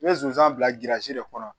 N bɛ zonzan bila de kɔnɔ